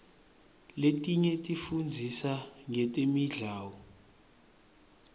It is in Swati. letinye tifundzisa ngetemidlao